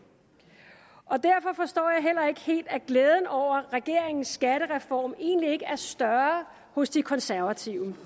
og derfor forstår jeg heller ikke helt at glæden over regeringens skattereform egentlig ikke er større hos de konservative